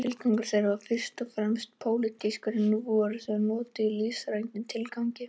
Tilgangur þeirra var fyrst og fremst pólitískur en nú voru þau notuð í listrænum tilgangi.